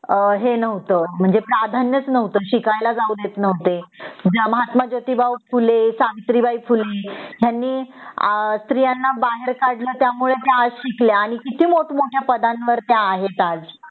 हे नव्हत म्हणजे प्राधान्य च नव्हत शिकायला जाऊ देत नव्हते महात्मा जोतिबा फुले सावित्री बाई फुले यांनी स्त्रियांना बाहेर काढल त्यामुळे त्या आज शिकल्या आणि कीती मोठ मोठ्या पदांवर आहेत त्या आज